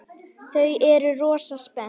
Þau eru rosa spennt.